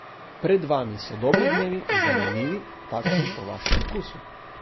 Pred vami so dobri dnevi, zanimivi, takšni po vašem okusu.